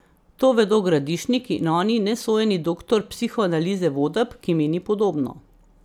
To vedo Gradišnik in oni nesojeni doktor psihoanalize Vodeb, ki meni podobno.